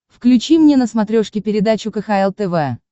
включи мне на смотрешке передачу кхл тв